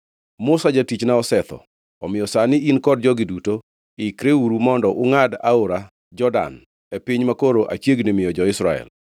Musa jatichna osetho. Omiyo sani, in kod jogi duto, ikreuru mondo ungʼad Aora Jordan e piny makoro achiegni miyo jo-Israel.